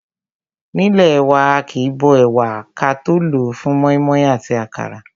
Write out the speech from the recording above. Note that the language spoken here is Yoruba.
Nílé wa, aàkín bó ẹ̀wà wa ka tó lòó fún mọ́ímọ́í àti àkàrà.